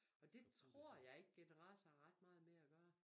Og det tror jeg ikke generator har ret meget med at gøre